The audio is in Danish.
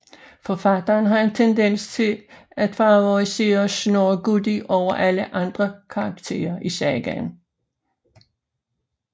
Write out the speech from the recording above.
Forfatteren har en tendens til at favorisere Snorre Goði over alle andre karakterer i sagaen